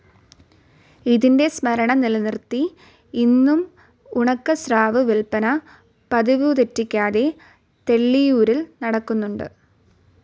ഇതിന്റെ സ്മരണ നിലനിര്ത്തി ഇന്നും ഉണക്കസ്രാവ്‌ വില്പന പതിവുതെറ്റിക്കാതെ തെള്ളിയൂരിൽ നടക്കുന്നുണ്ട്.